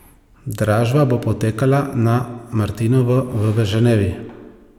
Dražba bo potekala na martinovo v Ženevi.